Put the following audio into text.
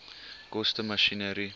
koste masjinerie